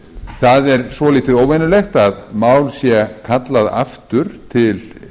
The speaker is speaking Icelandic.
það er svolítið óvenjulegt að mál sé kallað aftur til